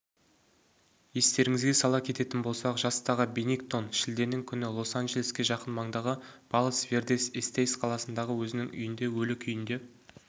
естеріңізге сала кететін болсақ жастағы беннингтоншілденің күні лос-анджелеске жақын маңдағы палос-вердес-эстейс қаласындағы өзінің үйінде өлі күйінде